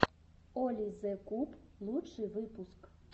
оли зе куб лучший выпуск